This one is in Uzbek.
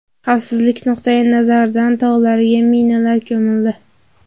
Xavfsizlik nuqtai nazaridan tog‘larga minalar ko‘mildi.